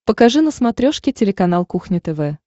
покажи на смотрешке телеканал кухня тв